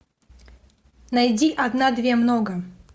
найди одна две много